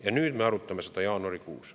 Ja nüüd me arutame seda jaanuarikuus.